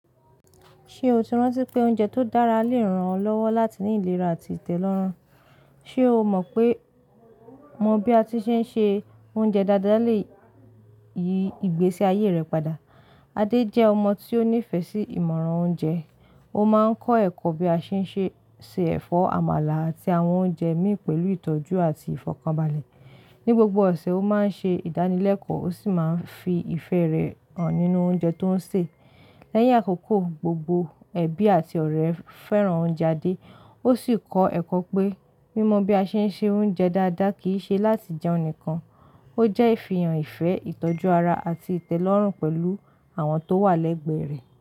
Ṣe o ti rántí pé oúnjẹ tó dára lè ran ọ lọ́wọ́ láti ní ìlera àti ìtẹ́lọ́rùn? Ṣe o mọ pé mọ́ bí a ti ṣe ń se oúnjẹ dáadáa lè yí ìgbésí ayé rẹ padà? Adé jẹ́ ọmọ tí ó nífẹ̀ẹ́ sí ìmọ̀ràn oúnjẹ. Ó máa ń kọ́ ẹ̀kọ́ bí a ṣe ń ṣe, se ẹ̀fọ́ àmàlà àti àwọn oúnjẹ mì pẹ̀lú ìtọ́jú àti ìfọ̀kànbalẹ̀. Ni gbogbo ọ̀sẹ̀, ó máa ń ṣe ìdánilẹ́kọ̀ọ́ ó sì máa ń fi ìfẹ́ rẹ̀ hàn nínú oúnjẹ tó ń sè. Lẹ́yìn àkókò, gbogbo ẹbí àti ọ̀rẹ́ fẹ́ràn oúnjẹ Adé. Ó sì kọ́ ẹ̀kọ́ pé mímọ bí a ṣe ń se oúnjẹ dáadáa kì í ṣe láti jẹun nìkan, ó jẹ́ ìfihàn ìfẹ́, ìtọ́jú ara àti ìtẹ́lọ́rùn pẹ̀lú àwọn tó wà lẹ́gbẹ̀ẹ́ rẹ̀.